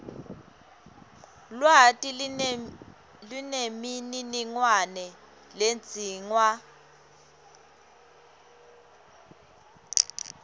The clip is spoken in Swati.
lwati nemininingwane ledzingwa